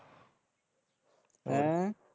ਹੈਅ